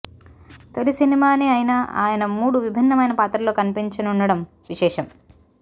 తొలి సినిమానే అయినా ఆయన మూడు విభిన్నమైన పాత్రల్లో కనిపించనుండటం విశేషం